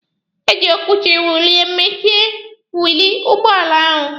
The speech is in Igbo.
E ji okwuchi wiilụ mechie wiilụ ụgbọala ahụ.